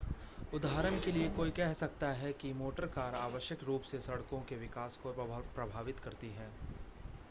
उदाहरण के लिए कोई कह सकता है कि मोटर कार आवश्यक रूप से सड़कों के विकास को प्रभावित करती हैं